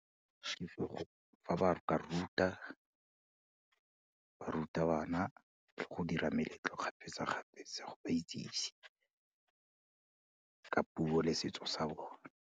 If go, fa ba ka ruta bana go dira meletlo kgapetsa-kgapetsa go ba itsise ka puo le setso sa bone.